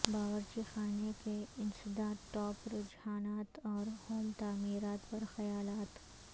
باورچی خانے کے انسداد ٹاپ رجحانات اور ہوم تعمیرات پر خیالات